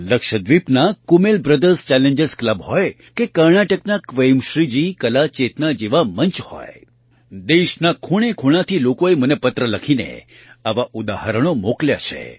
લક્ષદ્વીપના Kumel brothers challengers club હોય કે કર્ણાટકના ક્વેમશ્રીજી કલા ચેતના જેવા મંચ હોય દેશના ખૂણેખૂણાથી લોકોએ મને પત્ર લખીને આવાં ઉદાહરણો મોકલ્યાં છે